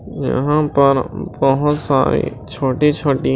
यहां पर बहोत सारी छोटी-छोटी --